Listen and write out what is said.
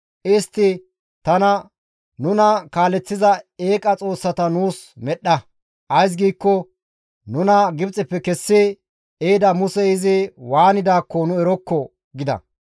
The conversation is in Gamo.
Istti tana, ‹Nuna kaaleththiza eeqa xoossata nuus medhdha. Ays giikko nuna Gibxeppe kessi ehida Musey izi waanidaakko nu erokko!› gida.